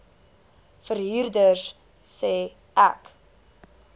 verhuurder sê ek